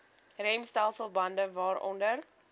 remstelsel bande waaronder